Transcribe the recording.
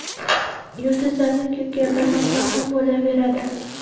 Yulduzlarni-ku gapirmasa ham bo‘laveradi.